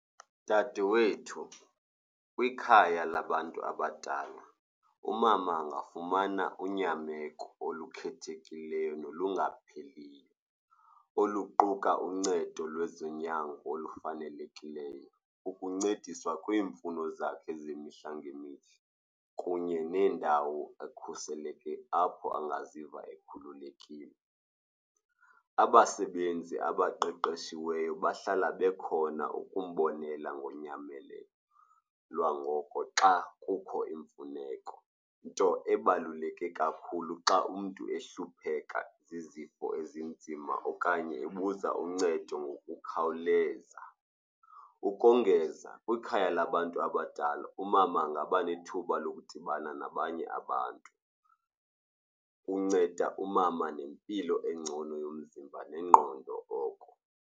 Dadewethu, kwikhaya labantu abadala umama angafumana unyameko olukhethekileyo nolungapheliyo, oluquka uncedo lwezonyango olufanelekileyo, ukuncediswa kwiimfuno zakhe zemihla ngemihla kunye nendawo ekhuselekile apho engaziva ekhululekile. Abasebenzi abaqeqeshiweyo bahlala bekhona ukumbonela ngonyamelelo lwangoko xa kukho imfuneko, nto ebaluleke kakhulu xa umntu ehlupheka zizifo ezinzima okanye ebuza uncedo ngokukhawuleza. Ukongeza, kwikhaya labantu abadala umama angaba nethuba lokudibana nabanye abantu. Unceda umama nempilo engcono yomzimba nengqondo oko.